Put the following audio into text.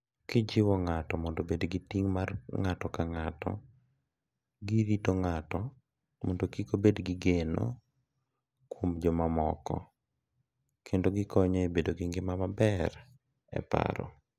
Gijiwo ng’ato mondo obed gi ting’ mar ng’ato ka ng’ato, girito ng’ato mondo kik obed gi geno kuom jomamoko, kendo gikonyo e bedo gi ngima maber e paro.